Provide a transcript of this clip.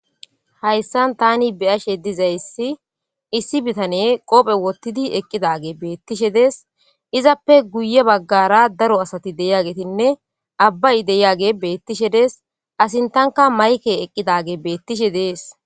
Hayssan tani beyashe dizayssi issi bitane qoophe wottidi eqqidage beettishe dees izappe guye baggara daro asati deyagetinne abbay deyage beettishe des asintanka mayke eqqidage beettishe dees